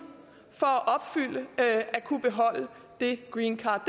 for at kunne beholde det greencard